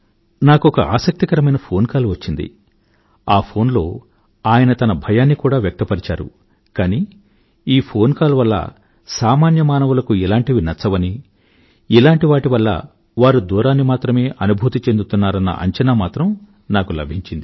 నాకొక ఆసక్తికరమైన phone call వచ్చింది ఆ ఫోన్ లో ఆయన తన భయాన్ని కూడా వ్యక్తపరిచారు కానీ ఈ ఫోన్ కాల్ వల్ల సామాన్య మానవులకు ఇలాంటివి నచ్చవనీ ఇలాంటి వాటి వల్ల వారు దూరాన్ని మాత్రమే అనుభూతి చెందుతున్నారన్న అంచనా మాత్రం నాకు లభించింది